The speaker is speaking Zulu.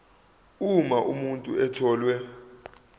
uma umuntu etholwe